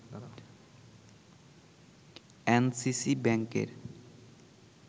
NCC ব্যাংকের